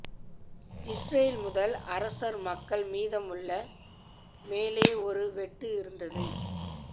Israel முதல் அரசர் மக்கள் மீதமுள்ள மேலே ஒரு வெட்டு இருந்தது